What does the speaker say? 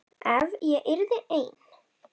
Ef ég yrði ein.